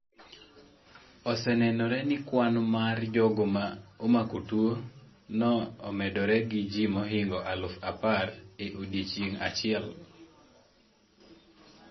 Osenenore ni kwan mar jogo ma omako tuwo no omedore gi ji mohingo aluf apar e odiechieng' achiel.